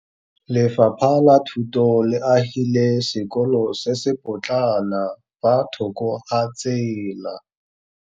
Lefapha la Thuto le agile sekôlô se se pôtlana fa thoko ga tsela.